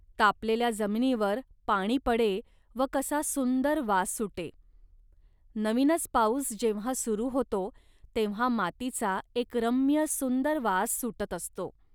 तापलेल्या जमिनीवर पाणी पडे व कसा सुंदर वास सुटे. नवीनच पाऊस जेव्हा सुरू होतो, तेव्हा मातीचा एक रम्य सुंदर वास सुटत असतो